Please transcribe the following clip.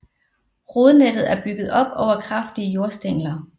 Rodnettet er bygget op over kraftige jordstængler